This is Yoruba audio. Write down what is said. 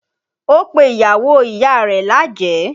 Ó pe ìyàwó ìyá rẹ̀ lájẹ̀ẹ́